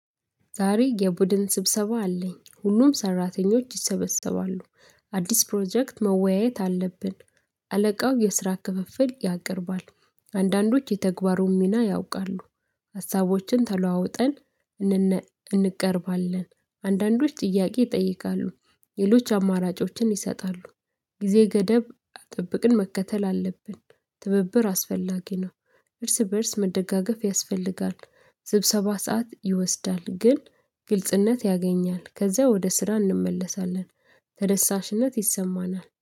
ዛሬ የቡድን ስብሰባ አለኝ፤ ሁሉም ሰራተኞች ይሰበሰባሉ። አዲስ ፕሮጀክት መወያየት አለብን። አለቃው የስራ ክፍፍል ያቀርባል። አንዳንዶች የተግባሩን ሚና ያውቃሉ። ሀሳቦችን ተለዋውጠን እንቀርባለን። አንዳንዶች ጥያቄ ይጠይቃሉ ሌሎች አማራጮችን ይሰጣሉ። ጊዜ ገደብ አጠብቅን መከተል አለብን። ትብብር አስፈላጊ ነው፤ እርስ በእርስ መደጋገፍ ያስፈልጋል፤። ስብሰባ ሰዓት ይወስዳል ግን ግልጽነት ያገኛል ከዛ ወደ ስራ እንመለሳለን። ተደሳሽነት ይሰማናል